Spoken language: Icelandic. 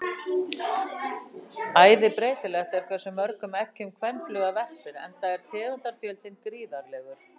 Æði breytilegt er hversu mörgum eggjum kvenfluga verpir enda er tegundafjöldinn gríðarlegur.